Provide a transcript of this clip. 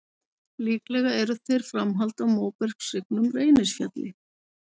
Líklega eru þeir framhald af móbergshryggnum Reynisfjalli.